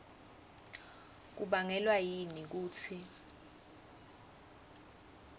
kubangelwa yini kutsi